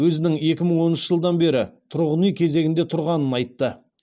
өзінің екі мың оныншы жылдан бері тұрғын үй кезегінде тұрғанын айтты